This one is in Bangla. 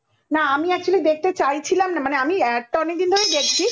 না আমি actually দেখতে চাইছিলাম না মানে আমি add টা অনেক দিন ধরেই দেখছি